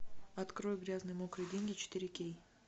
открой грязные мокрые деньги четыре кей